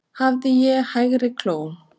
Hafði ég í hægri kló